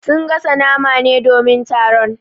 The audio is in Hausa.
Sun gasa nama ne domin taron.